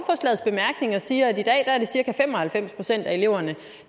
når jeg siger at i dag er det cirka fem og halvfems procent af eleverne